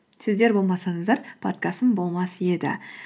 сіздер болмасаңыздар подкастым болмас еді